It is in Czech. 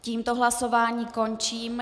Tímto hlasování končím.